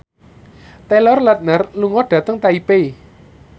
Taylor Lautner lunga dhateng Taipei